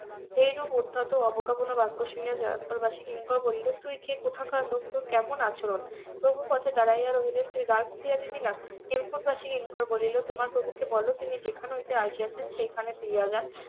এই রূপ উদ্ধত ও অবজ্ঞাপূর্ণ বাক্য শুনিয়া কিঙ্কর বলিল তুই কে কোথাকার লোক তোর কেমন আচরণ প্রভু পথে দাঁড়িয়ে রহিলেন তুই দ্বার খুলিয়া দিবি না হেমকুট বাসী কিঙ্কর বলিল তোমার প্রভু কে বলো তিনি যেখান হইতে আসিয়াছেন সেখানে ফিরিয়া যান